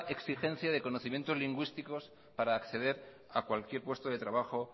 exigencia de conocimientos lingüísticos para acceder a cualquier puesto de trabajo